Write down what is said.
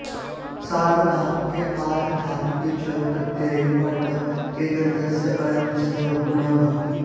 सार्वधातुके आर्धधातुके च प्रत्यये परतः एगन्तस्य अङ्गस्य गुणः भवति